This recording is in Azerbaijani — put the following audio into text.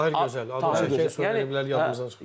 Tahir Gözəl adı çəkilənlər yaddan çıxdı.